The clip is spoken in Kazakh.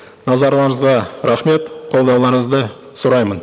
назарларыңызға рахмет қолдауларыңызды сұраймын